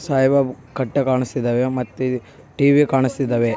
ಸಾಹೇಬ ಕಟ್ಟೆ ಕಾಣಸ್ತಿದ್ದಾವೆ ಮತ್ತೆ ಟೀ.ವೀ ಕಾಣಸ್ತಿದ್ದಾವೆ.